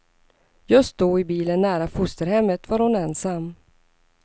Just då, i bilen nära fosterhemmet, var hon ensam.